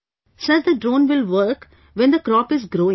Sir, the drone will work, when the crop is growing